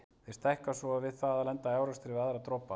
Þeir stækka svo við það að lenda í árekstri við aðra dropa.